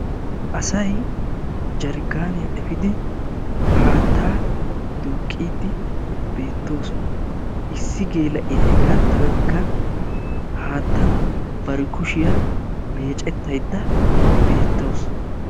Asay jarkkaaniya efiidi haattaa duuqqiiddi beettoosona. Issi geela'iya hegaattankka haattan bari kushiya meecettaydda beettawusu.